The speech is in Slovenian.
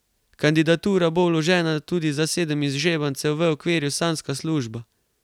Kandidatura bo vložena tudi za sedem izžrebancev v okviru Sanjska služba.